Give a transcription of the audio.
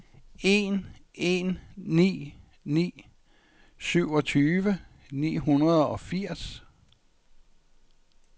en en ni ni syvogtyve ni hundrede og firs